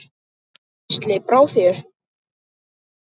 Gísli: Brá þér?